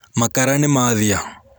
Makara nĩmathia.